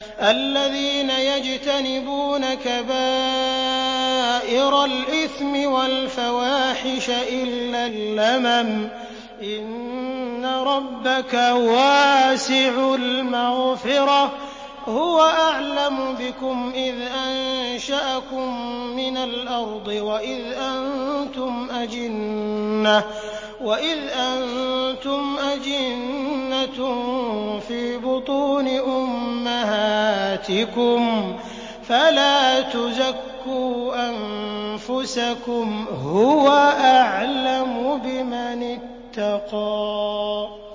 الَّذِينَ يَجْتَنِبُونَ كَبَائِرَ الْإِثْمِ وَالْفَوَاحِشَ إِلَّا اللَّمَمَ ۚ إِنَّ رَبَّكَ وَاسِعُ الْمَغْفِرَةِ ۚ هُوَ أَعْلَمُ بِكُمْ إِذْ أَنشَأَكُم مِّنَ الْأَرْضِ وَإِذْ أَنتُمْ أَجِنَّةٌ فِي بُطُونِ أُمَّهَاتِكُمْ ۖ فَلَا تُزَكُّوا أَنفُسَكُمْ ۖ هُوَ أَعْلَمُ بِمَنِ اتَّقَىٰ